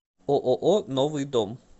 ооо новый дом